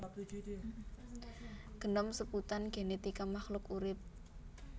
Genom sebutan genetika makhluk urip